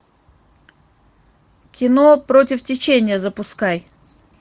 кино против течения запускай